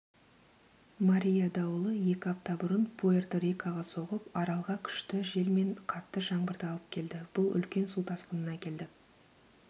мария дауылы екі апта бұрын пуэрто-рикоға соғып аралға күшті жел мен қатты жаңбырды алып келді бұл үлкен су тасқынына әкелді